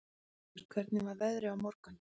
Björnfríður, hvernig er veðrið á morgun?